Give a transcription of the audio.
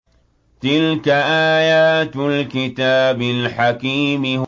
تِلْكَ آيَاتُ الْكِتَابِ الْحَكِيمِ